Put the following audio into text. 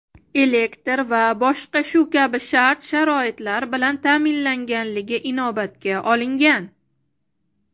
elektr va boshqa shu kabi shart-sharoitlar bilan ta’minlanganligi inobatga olingan.